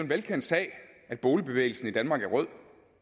velkendt sag at boligbevægelsen i danmark er rød